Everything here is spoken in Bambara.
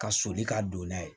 Ka soli ka don n'a ye